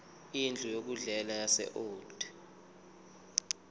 indlu yokudlela yaseold